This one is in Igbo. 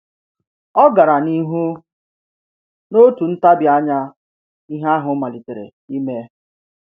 O gara n’ihu: N’otu ntabi anya, ihe ahụ malitere ime.